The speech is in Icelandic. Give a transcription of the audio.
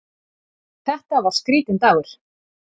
Þetta var skrítinn dagur.